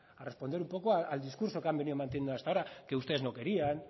a responder un poco al discursos que han venido manteniendo hasta ahora que ustedes no querían